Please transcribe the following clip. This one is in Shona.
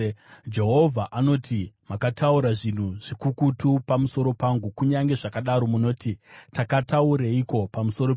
Jehovha anoti, “Makataura zvinhu zvikukutu pamusoro pangu.” “Kunyange zvakadaro munoti, ‘Takataureiko pamusoro penyu?’